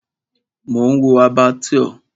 Mò ń wo Abattoir.